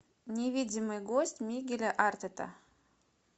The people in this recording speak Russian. невидимый гость мигеля артета